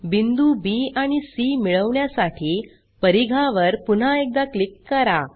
बिंदू बी आणि सी मिळवण्यासाठी परिघावर पुन्हा एकदा क्लिक करा